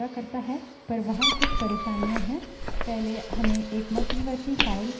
पहले हमें एक मध्यवर्ती file files dot टीएक्सटी चाहिए